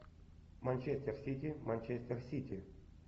манчестер сити манчестер сити